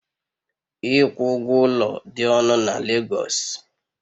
Ịkwụ ụgwọ ụlọ dị ọnụ na Legosu